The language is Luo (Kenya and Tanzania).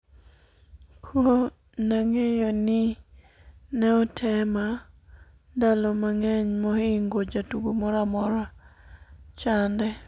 ko nang'eyo ni ne otema ndalo mang'eny mohingo jatugo moro amora chande